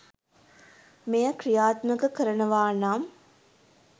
මෙය ක්‍රියාත්මක කරනවානම්